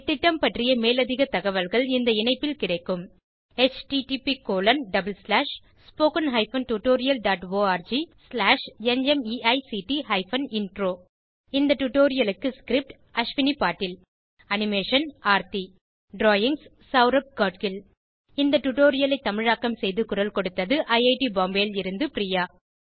இந்த திட்டம் பற்றிய மேலதிக தகவல்கள் இந்த இணைப்பில் கிடைக்கும் httpspoken tutorialorgNMEICT Intro இந்த டுடோரியலுக்கு script Ashwin Patil animation Aarthi drawings Saurabh Gadgil இந்த டுடோரியலை தமிழாக்கம் செய்து குரல் கொடுத்தது ஐஐடி பாம்பேவில் இருந்து பிரியா